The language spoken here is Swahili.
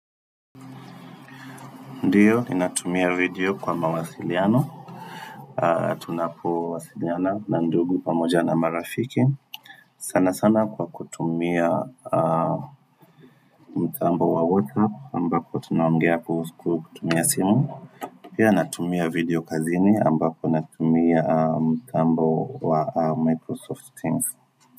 Ndiyo, ninatumia video kwa mawasiliano Tunapowasiliana na ndugu pamoja na marafiki sana sana kwa kutumia mtambo wa WhatsApp ambapo tunaongea kuhusu kutumia simu Pia natumia video kazini ambapo natumia mtambo wa Microsoft Teams.